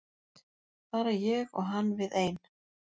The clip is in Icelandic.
Bara ég og hann við ein.